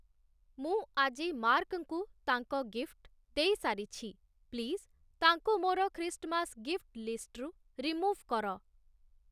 ମୁଁ ଆଜି ମାର୍କ୍‌ଙ୍କୁ ତାଙ୍କ ଗିଫ୍ଟ୍‌ ଦେଇସାରିଛି, ପ୍ଲିଜ୍‌ ତାଙ୍କୁ ମୋର ଖ୍ରୀଷ୍ଟମାସ ଗିଫ୍ଟ୍‌ ଲିଷ୍ଟ୍‌ରୁ ରିମୁଭ୍‌ କର